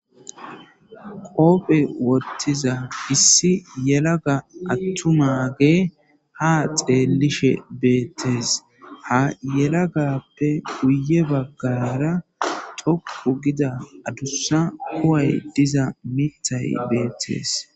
qoophe ottiza issi yelaga attumage ha xeelishe beettees ha yelagappe guye baggayara toku gida adussa koway diza mitay beettes